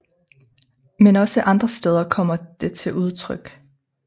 Men også andre steder kommer det til udtryk